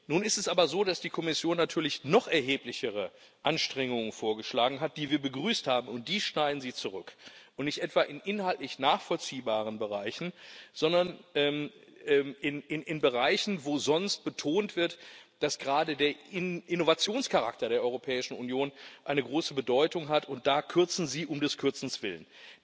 Nun ist es aber so, dass die Kommission natürlich noch erheblichere Anstrengungen vorgeschlagen hat, die wir begrüßt haben, und die schneiden Sie zurück, und nicht etwa in inhaltlich nachvollziehbaren Bereichen, sondern in Bereichen, wo sonst betont wird, dass gerade der Innovationscharakter der Europäischen Union eine große Bedeutung hat und da kürzen Sie um des Kürzens willen.